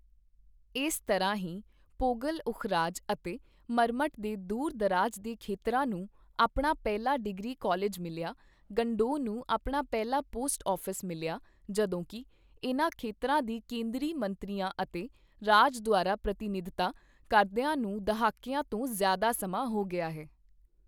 ਇਸ ਤਰ੍ਹਾਂ ਹੀ ਪੋਘਲ ਉਖਰਾਜ ਅਤੇ ਮਰਮਟ ਦੇ ਦੂਰ ਦਰਾਜ ਦੇ ਖੇਤਰਾਂ ਨੂੰ ਆਪਣਾ ਪਹਿਲਾ ਡਿਗਰੀ ਕਾਲਜ ਮਿਲਿਆ, ਗੰਡੋਹ ਨੂੰ ਆਪਣਾ ਪਹਿਲਾ ਪੋਸਟ ਆਫ਼ਿਸ ਮਿਲਿਆ ਜਦੋਂਕੀ ਇਨ੍ਹਾਂ ਖੇਤਰਾਂ ਦੀ ਕੇਂਦਰੀ ਮੰਤਰੀਆਂ ਅਤੇ ਰਾਜ ਦੁਆਰਾ ਪ੍ਰਤੀਨਿਧਤਾ ਕਰਦੀਆਂ ਨੂੰ ਦਹਾਕੀਆਂ ਤੋਂ ਜ਼ਿਆਦਾ ਸਮਾਂ ਹੋ ਗਿਆ ਹੈ।